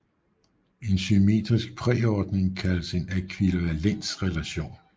En symmetrisk præordning kaldes en ækvivalensrelation